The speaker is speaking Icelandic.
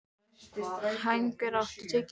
Hængur, áttu tyggjó?